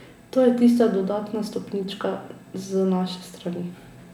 To je tista dodatna stopnička z naše strani.